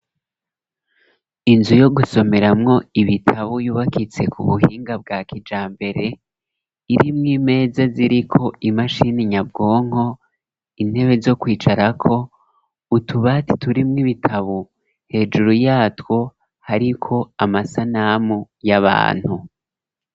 Inzu yo gusomeramwo ibitabo ,yubakitse ku buhinga bwa kijambere ,iri mw'imeza ziriko imashini nyabwonko, intebe zo kwicarako ,utubati turi mw'ibitabo, hejuru yatwo ariko Amasanamu y'Abantu.